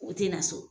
O tɛ na so